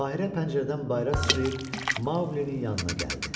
Bahirə pəncərədən bayıra sıçrayıb Maoqlinin yanına gəldi.